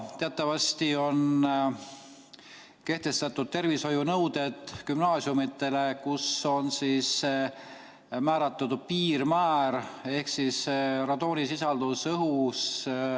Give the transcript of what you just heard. Teatavasti on kehtestatud tervishoiunõuded gümnaasiumidele, kus on määratud õhus oleva radooni piirmäär.